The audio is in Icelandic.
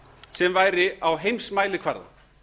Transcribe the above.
sem væri á heimsmælikvarða